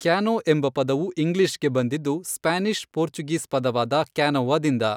Kano ಎಂಬ ಪದವು ಇಂಗ್ಲೀಷ್ಗೆ ಬಂದಿದ್ದು ಸ್ಪ್ಯಾನಿಷ್ ಪೋರ್ಚುಗೀಸ್ ಪದವಾದ ಕ್ಯಾನೋವಾದಿಂದ.